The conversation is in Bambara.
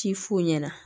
Ci f'o ɲɛna